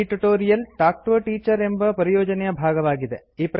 ಈ tutorial talk to a teacher ಎಂಬ ಪರಿಯೋಜನೆಯ ಭಾಗವಾಗಿದೆ